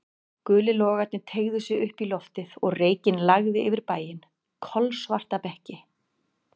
Gulir logarnir teygðu sig upp í loftið og reykinn lagði yfir bæinn, kolsvarta mekki.